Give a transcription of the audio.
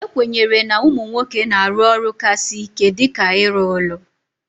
E kwenyere na ụmụ nwoke na-arụ ọrụ ka sị ike dịka ịrụ ụlọ